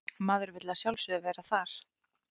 Maður vill að sjálfsögðu vera þar